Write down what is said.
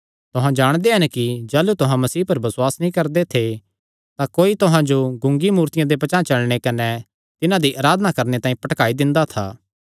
तुहां जाणदे हन कि जाह़लू तुहां मसीह पर बसुआस नीं करदे थे तां कोई तुहां जो गूंगी मूर्तियां दे पचांह़ चलणे कने तिन्हां दी अराधना करणे तांई भटकाई दिंदा था